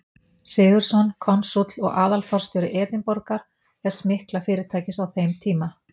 Sigurðsson, konsúll og aðalforstjóri Edinborgar, þess mikla fyrirtækis á þeim tíma.